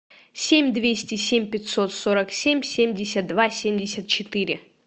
семь двести семь пятьсот сорок семь семьдесят два семьдесят четыре